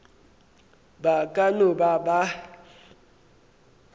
ba ka no ba ba